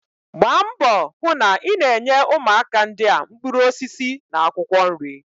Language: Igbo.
Gbaa mbọ hụ na ị na-enye ụmụaka ndị a mkpụrụ osisi na akwụkwọ nri